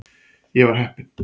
Ég var heppinn.